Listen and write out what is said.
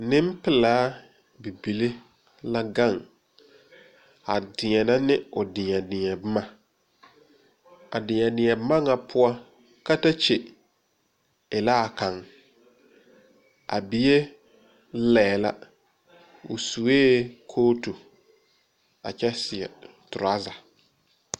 Nenpelaa bibile la gaŋ a deɛne ne o deɛ deɛ boma, a deɛ deɛ boma nyɛ poɔ, katakye e la a kaŋ, a bie laɛ la o suɛ kootu a kyɛ seɛ treasure.